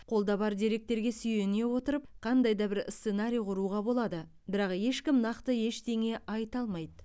қолда бар деректерге сүйене отырып қандай да бір сценарий құруға болады бірақ ешкім нақты ештеңе айта алмайды